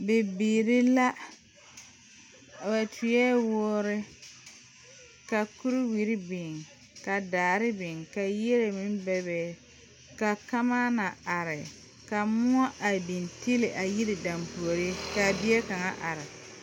Bibiiri la ba tuoe woore ka kuriwiri biŋ ka daare biŋ ka yie meŋ bebe ka kamaana are ka moɔ a biŋ tiili a yiri dampuori k,a bie kaŋa are.